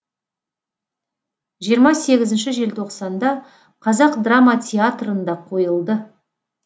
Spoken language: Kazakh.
жиырма сегізінші желтоқсанда қазақ драма театрында қойылды